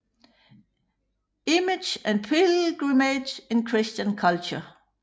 Image and Pilgrimage in Christian Culture